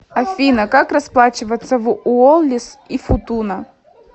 афина как расплачиваться в уоллис и футуна